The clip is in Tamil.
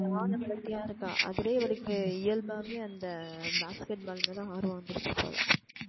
செம்ம வளத்தியா இருக்கா அதுலயே அவளுக்கு இயல்பாவே அந்த basket ball மேல ஆர்வம் வந்துருச்சு போல